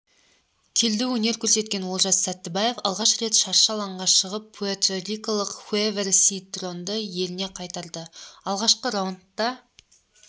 келідеөнер көрсеткен олжас сәттібаев алғаш рет шаршы алаңға шығып пуэрторикалық хевьер синтронды еліне қайтарды алғашқы раундта